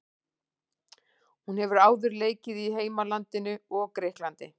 Hún hefur áður leikið í heimalandinu og Grikklandi.